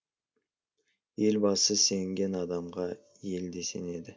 елбасы сенген адамға ел де сенеді